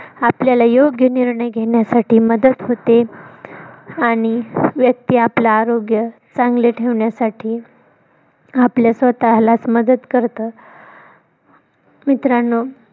आपल्याला योग्य निर्णय घेण्यासाठी मदत होते. आणि व्यक्ती आपल आरोग्य चांगले ठेवन्यासाठी आपल्या स्वतःलाच मदत करत मित्रानो